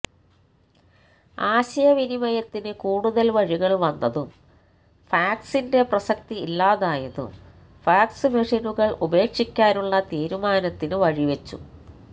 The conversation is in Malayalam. ആശയവിനിമയത്തിന് കൂടുതല് വഴികള് വന്നതും ഫാക്സിന്റെ പ്രസക്തി ഇല്ലാതായതും ഫാക്സ് മെഷിനുകള് ഉപേക്ഷിക്കാനുള്ള തീരുമാനത്തിന് വഴിവെച്ചു